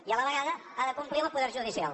i a la vegada ha de complir amb el poder judicial